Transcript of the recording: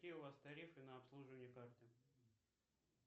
какие у вас тарифы на обслуживание карты